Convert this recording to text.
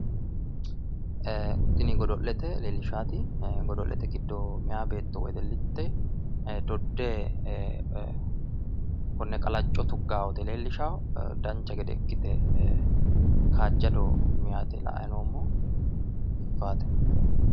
Tini godo'lete leellishshaati. Godo'lete giddo meyaa beetto wedellitte dodde konne qalacco tuggawota leellishawo. Dancha gede ikkite kaajjado meyati la"ayi noommohu. Biiffawote.